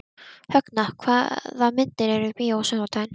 Högna, hvaða myndir eru í bíó á sunnudaginn?